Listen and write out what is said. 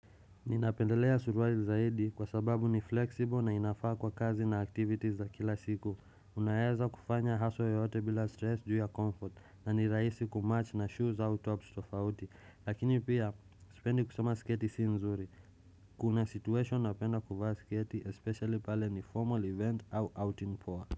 Ninapendelea suruali zaidi kwa sababu ni flexible na inafaa kwa kazi na activities za kila siku Unaeza kufanya haswa yoyote bila stress juu ya comfort na nirahisi kumatch na shoes au tops tofauti. Lakini pia sipendi kusema sketi si nzuri Kuna situation napenda kuvaa sketi especially pale ni formal event au out in poa.